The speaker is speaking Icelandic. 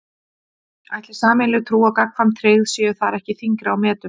Ætli sameiginleg trú og gagnkvæm tryggð séu þar ekki þyngri á metum?